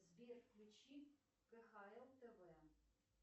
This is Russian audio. сбер включи кхл тв